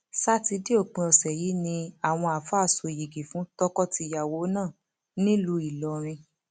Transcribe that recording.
ṣàtidé òpin ọsẹ yìí ni àwọn àáfàá sọ yìgì fún tọkọtìyàwó náà nílùú ìlọrin